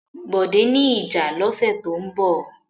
Bọ̀dé ní ìjà lọ́sẹ̀ tó ń bọ̀.